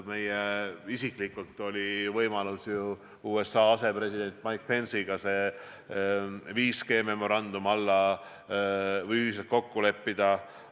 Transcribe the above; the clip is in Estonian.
Mul isiklikult oli võimalus USA asepresidendi Mike Pence'iga 5G memorandum kokku leppida.